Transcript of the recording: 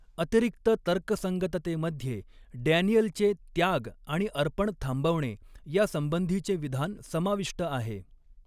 अतिरिक्त तर्कसंगततेमध्ये डॅनियलचे 'त्याग आणि अर्पण थांबवणे' यासंबंधीचे विधान समाविष्ट आहे.